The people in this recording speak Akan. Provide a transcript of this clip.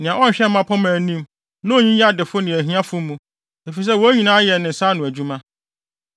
nea ɔnhwɛ mmapɔmma anim na onyiyi adefo ne ahiafo mu, efisɛ wɔn nyinaa yɛ ne nsa ano adwuma.